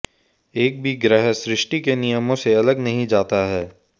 एक भी ग्रह सृष्टि के नियमों से अलग नहीं जाता है